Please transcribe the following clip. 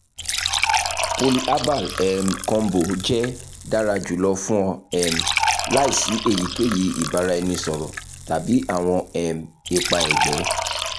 polyherbal um combo jẹ dara julọ fun ọ um laisi eyikeyi ibaraẹnisọrọ tabi awọn um ipa ẹgbẹ ẹgbẹ